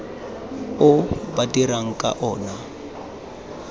o ba dirang ka ona